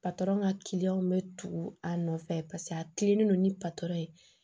ka kiliyanw bɛ tugu a nɔfɛ paseke a kilennen don ni patɔrɔn ye